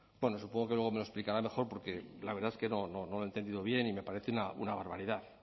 bueno supongo que luego me lo explicará mejor porque la verdad es que no lo he entendido bien y me parece una barbaridad